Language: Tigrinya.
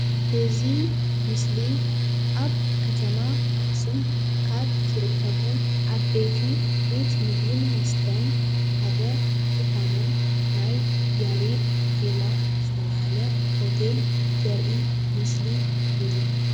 እዚ ምስሊ ኣብ ከተማ ኣክሱም ካብ ዝርከቡ ዓበይቲ ቤት ምግብን መስተን ሓደ ዝኮነ ናይ ያሬድ ዜማ ዝተባሃለ ሆቴል ምስሊ እዩ።